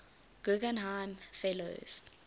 guggenheim fellows